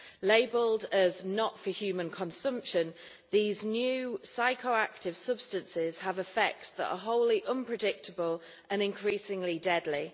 Labelled as not for human consumption', these new psychoactive substances have effects that are wholly unpredictable and increasingly deadly.